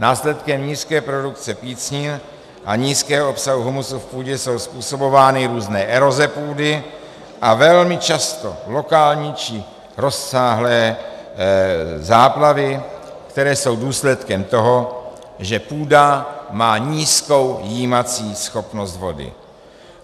Následkem nízké produkce pícnin a nízkého obsahu humusu v půdě jsou způsobovány různé eroze půdy a velmi často lokální či rozsáhlé záplavy, které jsou důsledkem toho, že půda má nízkou jímací schopnost vody.